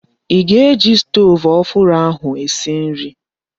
I ga-eji stoovu ọhụrụ ahụ esi nri?